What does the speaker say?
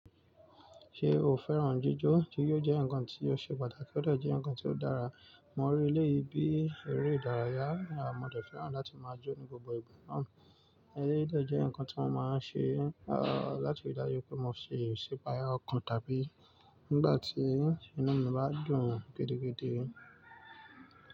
Ṣé o fẹ́ràn jíjó, jijo jẹ́ ǹkan tí ó ṣe pàtàkì ó de jẹ́ ǹkan tí ó dára. Mo rí eleyii bi eré ìdárayá mo de fẹ́ràn láti máa jó ní gbogbo ìgbà náà. Eléyìí de jẹ́ ǹkan tí wọ́n máa ń ṣe, láti re daju pé mo se isipaya ọkàn tàbí nígbà tí inú mi bá dùn gidigidi.